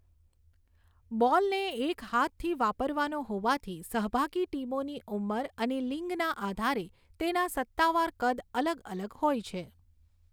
બૉલને એક હાથથી વાપરવાનો હોવાથી, સહભાગી ટીમોની ઉંમર અને લિંગના આધારે તેના સત્તાવાર કદ અલગ અલગ હોય છે.